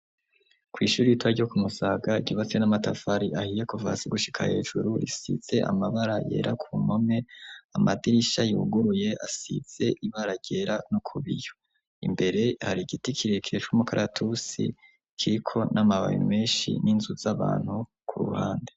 Kw'ishure ritoya ryo ku Musaga, ryubatse n'amatafari ahiye kuva hasi gushika hejuru, risize amabara yera ku mpome; amadirisha yuguruye asize ibara ryera no kubiyo. Imbere hari igiti kirekire c'umukaratusi kiriko n'amababi menshi, n'inzu z'abantu ku ruhande.